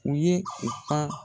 U ye u ka